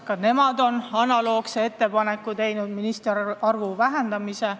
Ka nemad on analoogse ettepaneku teinud: ministrite arvu võiks vähendada.